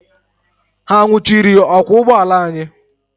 Ha nwụchiri ọkwọ ụgbọala anyị?